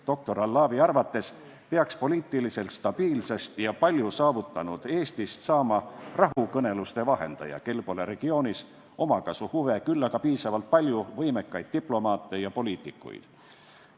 Doktor Allawi arvates peaks poliitiliselt stabiilsest ja palju saavutanud Eestist saama rahukõneluste vahendaja, kel pole regioonis omakasuhuve, küll aga piisavalt palju võimekaid diplomaate ja poliitikuid.